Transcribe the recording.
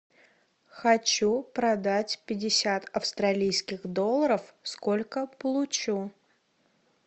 хочу продать пятьдесят австралийских долларов сколько получу